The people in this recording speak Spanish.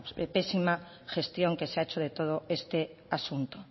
pésima gestión que se ha hecho de todo este asunto